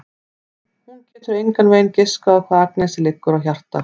Hún getur engan veginn giskað á hvað Agnesi liggur á hjarta.